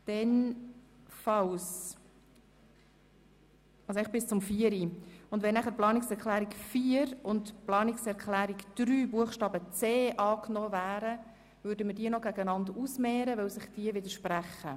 das heisst eigentlich bis zur Planungserklärung 4. Sollten die Planungserklärungen 3 Buchstabe c und 4 angenommen werden, werden wir diese noch einander gegenüberstellen, weil sich diese widersprechen.